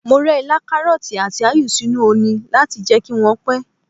Mo rẹ ilá, karọti, àti áyù sínú oni láti jẹ́ kí wọ́n pẹ́.